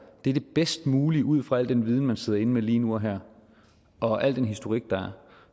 er det bedst mulige ud fra al den viden man sidder inde med lige nu og her og al den historik der er